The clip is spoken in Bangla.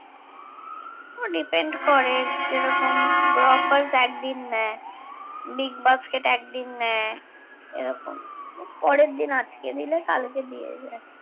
depend করে যেরকম গ্রফার্স একদিন নেয় বিগবাস্কেট একদিন নেয় এরকম পরের দিন আজকে দিলে কালকে দিয়ে যায়